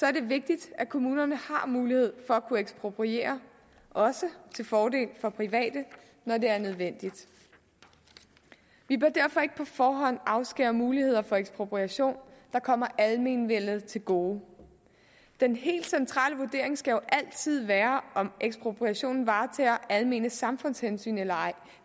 er det vigtigt at kommunerne har mulighed for at kunne ekspropriere også til fordel for private når det er nødvendigt vi bør derfor ikke på forhånd afskære muligheder for ekspropriation der kommer almenvellet til gode den helt centrale vurdering skal jo altid være om ekspropriationen varetager almene samfundshensyn eller ej